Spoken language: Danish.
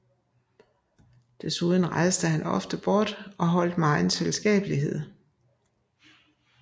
Desuden rejste han rejste ofte bort og holdt megen selskabelighed